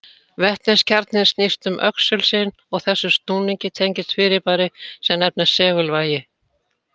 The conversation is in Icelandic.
Vetniskjarninn snýst um öxul sinn og þessum snúningi tengist fyrirbæri sem nefnist segulvægi.